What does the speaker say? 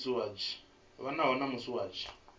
fanaho na musi hu tshi